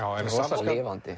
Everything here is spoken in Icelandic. samt lifandi